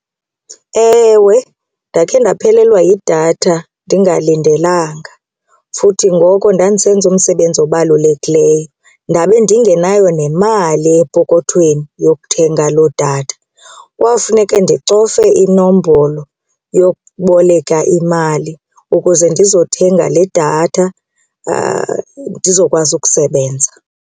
Ewe, ndakhe ndaphelelwa yidatha ndingalindelanga futhi ngoko ndandisenza umsebenzi obalulekileyo ndabe ndingenayo nemali epokothweni yokuthenga loo datha. Kwafuneke ndicofe inombolo yokuboleka imali ukuze ndizothenga le datha ndizokwazi ukusebenza.